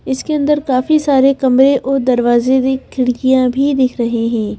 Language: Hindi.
इसके अंदर काफी सारे कमरे और दरवाजे भी खिड़कियां भी दिख रही हैं।